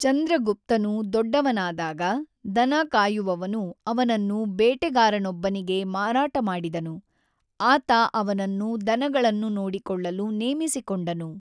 ಚಂದ್ರಗುಪ್ತನು ದೊಡ್ಡವನಾದಾಗ, ದನಕಾಯುವವನು ಅವನನ್ನು ಬೇಟೆಗಾರನೊಬ್ಬನಿಗೆ ಮಾರಾಟ ಮಾಡಿದನು, ಆತ ಅವನನ್ನು ದನಗಳನ್ನು ನೋಡಿಕೊಳ್ಳಲು ನೇಮಿಸಿಕೊಂಡನು.